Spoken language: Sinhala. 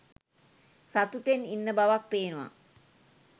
සතුටෙන් ඉන්න බවක් පේනව.